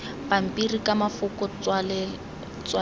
pampiri ka mafoko tswaletswe e